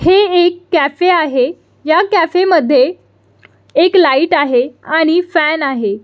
हे एक कॅफे आहे ह्या कॅफे मध्ये एक लाइट आहे आणि फॅन आहे.